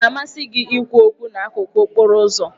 Ọ na-amasị gị ikwu okwu n'akụkụ okporo ụzọ?